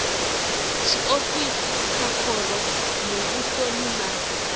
tshiofisi vha khoro muvhusoni na